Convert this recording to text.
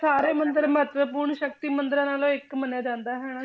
ਸਾਰੇ ਮੰਦਿਰ ਮਹੱਤਵਪੂਰਨ ਸ਼ਕਤੀ ਮੰਦਿਰਾਂ ਨਾਲੋਂ ਇੱਕ ਮੰਨਿਆ ਜਾਂਦਾ ਹਨਾ,